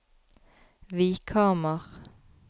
Vikhamar